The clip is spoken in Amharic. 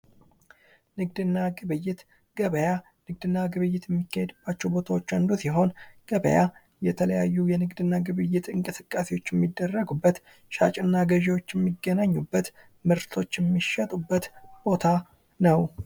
ንግድና ግብይት ገበያ:- ገበያ የንግድ እና ግብይት ከሚካሄድባቸዉ ቦታዎች አንዱ ሲሆን ገበያ የተለያዩ የንግድ እንቅስቃሴዎች የሚደረጉበት ሻጭና ገዥዎች የሚገናኙበት ምርቶች የሚሸጡበት ቦታ ነዉ።